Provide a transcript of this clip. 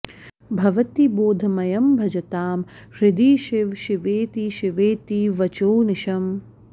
भवति बोधमयं भजतां हृदि शिव शिवेति शिवेति वचोऽनिशम्